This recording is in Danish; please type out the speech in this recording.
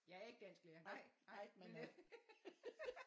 Jeg er ikke dansklærer nej nej men øh